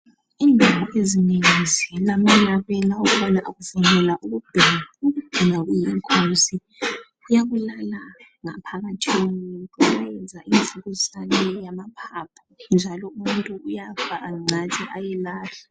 Indawo ezinengi ziilamalabela ukubana akuvunyelwa ukubhema. Loba kungekho esibhedlela Kuyabulala kakhulu ngaphakathi komuntu. Kuyayenza imvukuzane yamaphaphu, njalo umuntu uyafa kancane. Ayelahlwa.